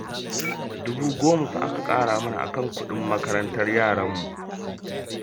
Dubu goma fa aka ƙara mana a kan kuɗin makarantar yaranmu